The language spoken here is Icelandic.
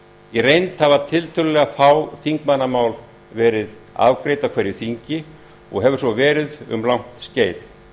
í reynd hafa tiltölulega fá þingmannamál verið afgreidd á hverju þingi og hefur svo verið um langt skeið